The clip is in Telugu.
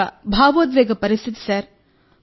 అది ఒక భావోద్వేగ పరిస్థితి సార్